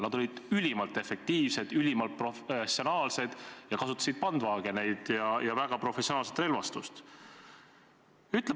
Nad olid ülimalt efektiivsed, ülimalt professionaalsed, kasutasid Bandvagneid ja väga professionaalset relvastust.